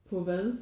På hvad?